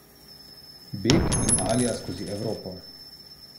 Beg in alija skozi Evropo.